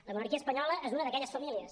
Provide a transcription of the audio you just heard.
la monarquia espanyola és una d’aquelles famílies